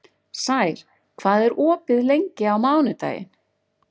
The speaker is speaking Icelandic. Sær, hvað er opið lengi á mánudaginn?